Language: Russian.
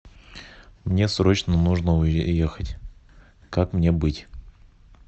мне срочно нужно уехать как мне быть